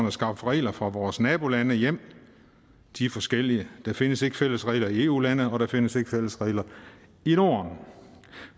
at skaffe reglerne for vores nabolande hjem og de er forskellige der findes ikke fælles regler i eu landene og der findes ikke fælles regler i norden